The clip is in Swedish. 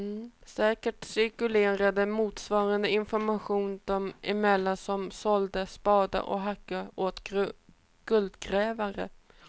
Säkert cirkulerade motsvarande information dem emellan som sålde spadar och hackor åt guldgrävare.